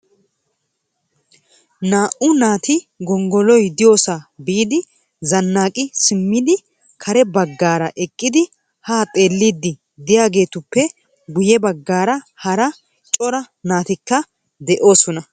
Naa"u naati gonggoloy diyyoosa biidi zannaqi simmidi kare baggaara eqqidi ha xeellidi de'iyaagetuppe guyye baggaara hara cora naatikka de'oosona .